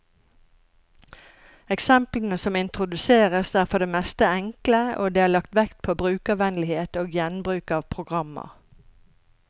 Eksemplene som introduseres, er for det meste enkle, og det er lagt vekt på brukervennlighet og gjenbruk av programmer.